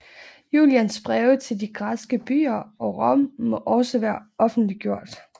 Julians breve til de græske byer og Rom må også være offentliggjort